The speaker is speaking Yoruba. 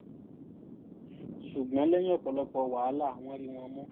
ṣùgbọ́n lẹ́yìn ọ̀pọ̀lọpọ̀ wàhálà wọn rí wọn mú